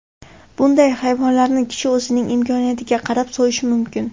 Bunday hayvonlarni kishi o‘zining imkoniyatiga qarab so‘yishi mumkin.